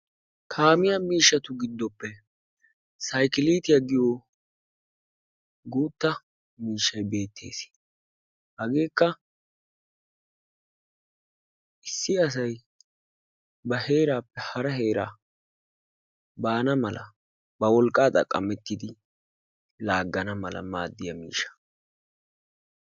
Kaamiya miishshatu giddoppe saykiliitiya giyo guutta miishshay beettes. Hageekka issi asay ba heeraappe hara heeraa baana mala ba wolqqaa go'ettidi laaggana mala maaddiya miishsha.